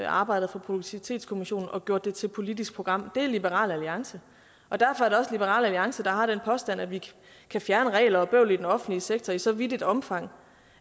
arbejdet fra produktivitetskommissionen og gjort det til politisk program det er liberal alliance derfor er det liberal alliance der har den påstand at vi kan fjerne regler og bøvl i den offentlig sektor i så vidt et omfang